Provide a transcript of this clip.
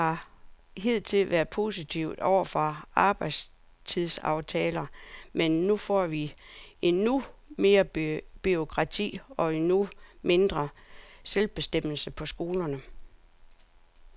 Jeg har hidtil været positiv over for arbejdstidsaftalen, men nu får vi endnu mere bureaukrati og endnu mindre selvbestemmelse på skolerne.